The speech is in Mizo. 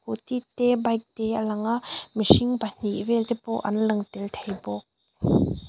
scooty te bike te a lang a mihring pahnih vel te pawh an lang tel thei bawk.